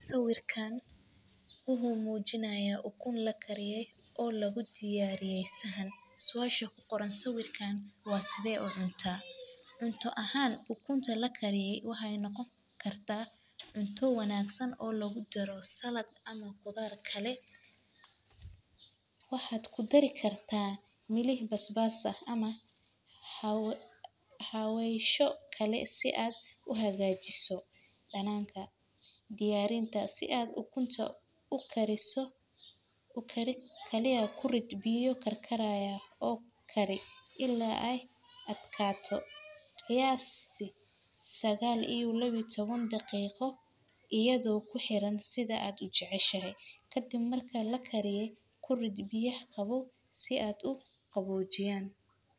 Sawiirkaan wuxuu mujinaaya ukun lakariye oo lagu diyaariye saxan, suasha kuqoran sawiirkaan waa sidee ucunta, cunto ahaan marki lakariyo waxaay noqon kartaa cunto wanagsan oo lagu daray salad ama qudaar kale, waxaad kudari kartaa milix basbas ama xawesho kale si aad uhagajiso danaanka, diyaarinta si aad ukunta ukariso, kaliya kurid biyo karkarayaan oo kari ila aay adkaato qiyaasti sagaal iyo laba iyo taban daqiiqo iyadoo uxiran sidha aad ujeceshahay, kadib marka lakariyo kurid biya qawoow si aay uqabojiyaan.